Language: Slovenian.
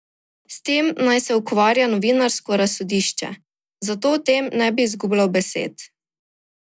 S tem naj se ukvarja novinarsko razsodišče, zato o tem ne bi izgubljal besed.